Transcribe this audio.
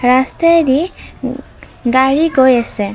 ৰাস্তাইদি ও গাড়ী গৈ আছে।